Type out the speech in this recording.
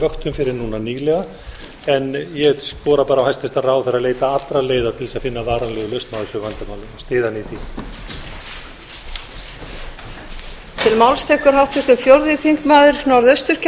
fyrr en núna nýlega ég skora bara á hæstvirtan ráðherra að leita allra leiða til þess að finna varanlega lausn á þessu vandamáli og styð hann í því